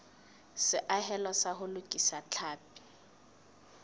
seahelo sa ho lokisa tlhapi